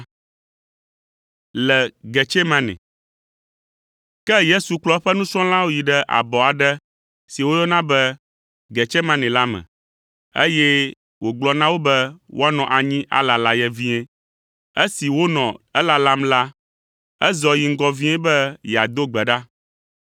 Ke Yesu kplɔ eƒe nusrɔ̃lawo yi ɖe abɔ aɖe si woyɔna be Getsemane la me, eye wògblɔ na wo be woanɔ anyi alala ye vie. Esi wonɔ elalam la, ezɔ yi ŋgɔ vie be yeado gbe ɖa.